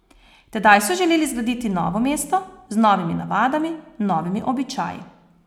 Tedaj so želeli zgraditi novo mesto, z novimi navadami, novimi običaji...